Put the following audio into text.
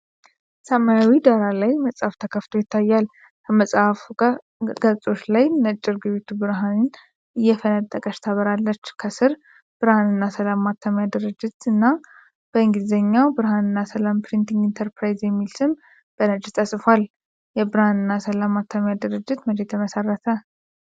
ሰማያዊ ዳራ ላይ መጽሐፍ ተከፍቶ ይታያል። ከመጽሐፉ ገፆች ላይ ነጭ ርግቢቱ ብርሃን እየፈነጠቀች ትበራለች። ከስር "ብርሃንና ሰላም ማተሚያ ድርጅት" እና በእንግሊዝኛው “በርሃነና ሰላም ፕሪንቲንግ ኢንተርፕራይዝ” የሚል ስም በነጭ ተጽፏል። የብርሃንና ሰላም ማተሚያ ድርጅት መቼ ተመሠረተ?